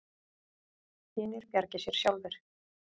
Hinir bjargi sér sjálfir.